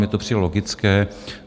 Mně to přijde logické.